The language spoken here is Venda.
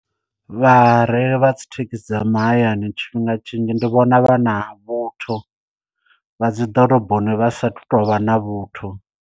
Vhareili vha dzi thekhisi dza mahayani tshifhinga tshinzhi ndi vhona vha na vhuthu vha dzi ḓoroboni vha sathu tovha na vhuthu.